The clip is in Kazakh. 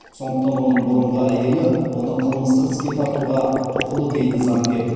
сондықтан оның бұрынғы әйелі оны қылмыстық іске тартуға құқылы дейді заңгер